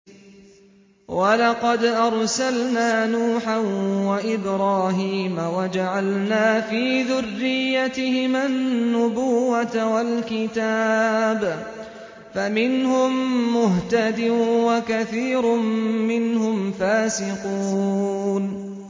وَلَقَدْ أَرْسَلْنَا نُوحًا وَإِبْرَاهِيمَ وَجَعَلْنَا فِي ذُرِّيَّتِهِمَا النُّبُوَّةَ وَالْكِتَابَ ۖ فَمِنْهُم مُّهْتَدٍ ۖ وَكَثِيرٌ مِّنْهُمْ فَاسِقُونَ